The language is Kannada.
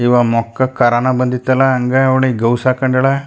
ಈವ್ ಮೋಕ್ಕ್ ಕರೋನಾ ಬಂದಿತ್ತಲ್ಲಾ ಹಂಗ್ ಅವ್ಲಿ ಗೌವ್ಸ್ ಹಾಕೋಂಡಳ --